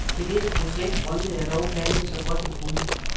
Til dette projekt rynkede jeg dog panden, så godt jeg kunne.